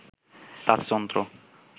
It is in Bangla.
রাজতন্ত্র